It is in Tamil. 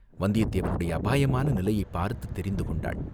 வந்தியத்தேவனுடைய அபாயமான நிலையைப் பார்த்துத் தெரிந்து கொண்டாள்.